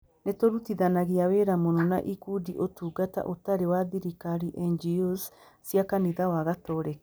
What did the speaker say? Nĩ tũrutithanagia wĩra mũno na ikundi Ũtungata Ũtarĩ wa Thirikari (NGOs) cia kanitha wa Gatoreki.